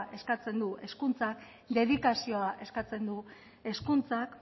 eskatzen du hezkuntzak dedikazioa eskatzen du hezkuntzak